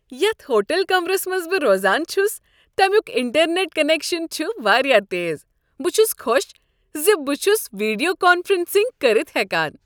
یتھ ہوٹل کمرس منٛز بہٕ روزان چھس تمیُک انٹرنٮ۪ٹ کنیکشن چھ واریاہ تیز۔ بہٕ چھس خوش ز بہٕ چھس ویڈیو کانفرنسنگ کٔرتھ ہٮ۪کان۔